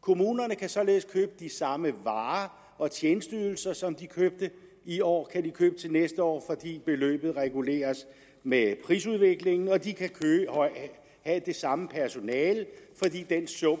kommunerne kan således købe de samme varer og tjenesteydelser som de købte i år til næste år fordi beløbet reguleres med prisudviklingen og de kan have det samme personale fordi den sum